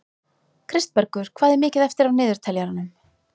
Kristbergur, hvað er mikið eftir af niðurteljaranum?